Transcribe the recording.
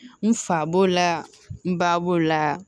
N fa b'o la n ba b'o la